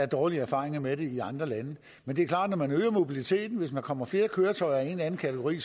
dårlige erfaringer med det i andre lande men det er klart at når man øger mobiliteten og der kommer flere køretøjer ind i en anden kategori